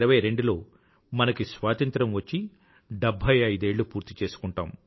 2022లో మనకి స్వాతంత్రం వచ్చి డెభ్భై ఐదేళ్ళు పూర్తిచేసుకుంటాము